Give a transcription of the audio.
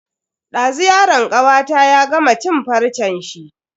Dazu yaron kawata ya gama cin farcen shi.